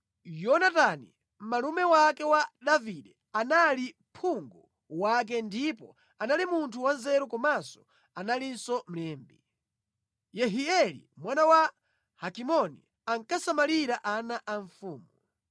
Yonatani, malume wake wa Davide, anali phungu wake ndipo anali munthu wanzeru komanso analinso mlembi. Yehieli mwana wa Hakimoni ankasamalira ana a mfumu.